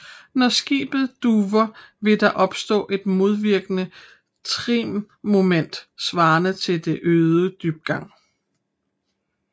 Når skibet duver vil der opstå et modvirkende trimmoment svarende til den øgede dybgang